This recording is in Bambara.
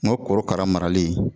O korokara marali